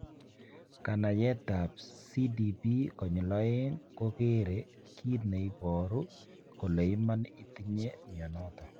Kanayetap CDPX2 kogere kit ne iporu kole iman itinye mionoton.